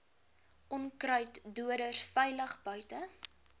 onkruiddoders veilig buite